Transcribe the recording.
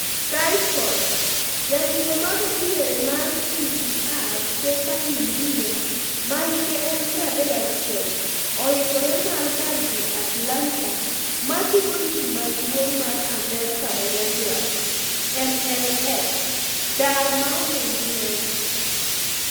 (Sky Sports) Jatugo ma go diere mar QPR Stephane Mbia, ma hike en 31, yuoikore mar dar dhi Atlanta matugo lig maduong' mar Amerka manyandwat (MLS) dar maonge nyiew.